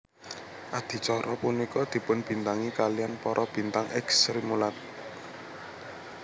Adicara punika dipunbintangi kaliyan para bintang èks Srimulat